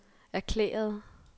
erklærede